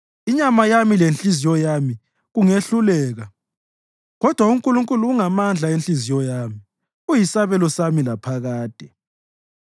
Inyama yami lenhliziyo yami kungehluleka kodwa uNkulunkulu ungamandla enhliziyo yami, uyisabelo sami laphakade.